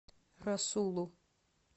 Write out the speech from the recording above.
расулу